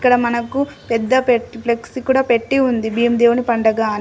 ఇక్కడ మనకు పెద్ద ప్లెక్సీ కూడా పెట్టి ఉంది భీమ్ దేవుని పండుగ అని.